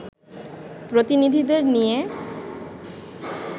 প্রতিনিধিদের নিয়ে